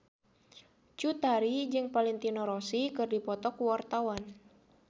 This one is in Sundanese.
Cut Tari jeung Valentino Rossi keur dipoto ku wartawan